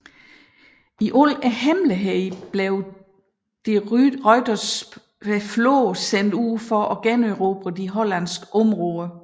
I al hemmelighed blev de Ruyters flåde sendt ud for at generobre de hollandske områder